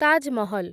Taj Mahal